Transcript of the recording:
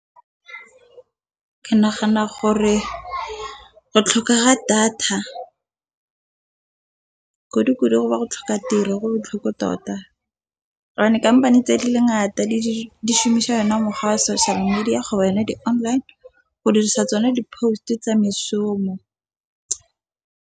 Ke nagana gore go tlhoka ga data kudukudu go ba go tlhoka tiro go botlhoko tota. Kampane tse di le ngata di shomisa ona mokgwa wa social media di-online go dirisa tsone di-post tsa meshomo.